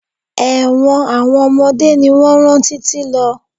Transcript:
Ẹ̀wọ̀n àwọn ọmọdé ni wọn rán títí lọ.